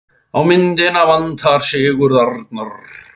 Á myndina vantar Sigurð Arnar.